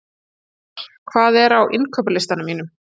Eðvar, hvað er á innkaupalistanum mínum?